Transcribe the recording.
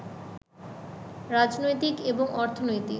রাজনৈতিক এবং অর্থনৈতিক